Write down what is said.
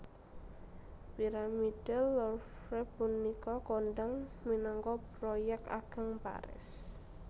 Piramida Louvre punika kondhang minangka Proyek Ageng Paris